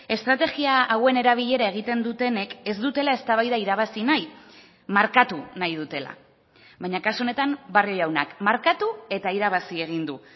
estrategia hauen erabilera egiten dutenek ez dutela eztabaida irabazi nahi markatu nahi dutela baina kasu honetan barrio jaunak markatu eta irabazi egin du